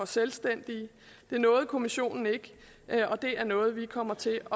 selvstændige det nåede kommissionen ikke og det er noget vi kommer til